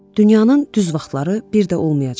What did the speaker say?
Dünyanın düz vaxtları bir də olmayacaqdı.